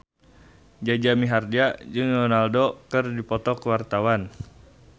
Jaja Mihardja jeung Ronaldo keur dipoto ku wartawan